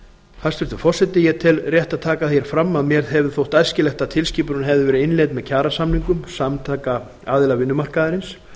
hæstvirtur forseti ég tel rétt að taka fram að mér hefði þótt æskilegt að tilskipunin hefði verið innleidd með kjarasamningum samtaka aðila vinnumarkaðarins